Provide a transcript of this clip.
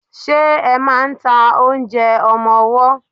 Ṣe máà ń ta oúnjẹ ọmọwọ́?